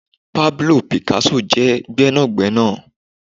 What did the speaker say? Pablo Picasso je gbénàgbénà